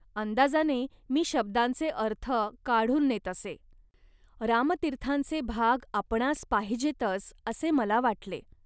अंदाजाने मी शब्दांचे अर्थ काढून नेत असे. रामतीर्थांचे भाग आपणांस पाहिजेतच, असे मला वाटले